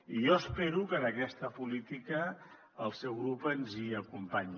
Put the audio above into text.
i jo espero que en aquesta política el seu grup ens hi acompanyi